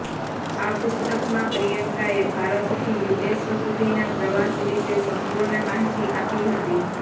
આ પુસ્તકમાં પ્રિયંકાએ ભારતથી યુએસ સુધીના પ્રવાસ વિશે સંપૂર્ણ માહિતી આપી હતી